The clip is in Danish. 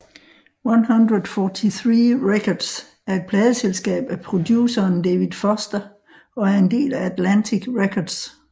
143 Records er et pladeselskab af produceren David Foster og er en del af Atlantic Records